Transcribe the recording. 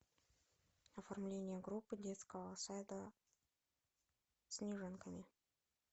оформление группы детского сада снежинками